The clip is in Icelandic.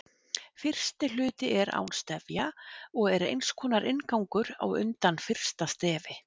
Fyrsti hluti er án stefja og er eins konar inngangur á undan fyrsta stefi.